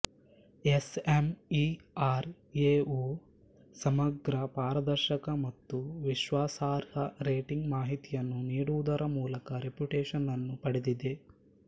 S M E R ಎವು ಸಮಗ್ರ ಪಾರದರ್ಶಕ ಮತ್ತು ವಿಶ್ವಸಾರ್ಹ ರೇಟಿಂಗ್ ಮಾಹಿತಿಯನ್ನು ನೀಡುವುದರ ಮೂಲಕ ರೆಪುಟೆಷನ್ನನ್ನು ಪಡೆದಿದ್ದೆ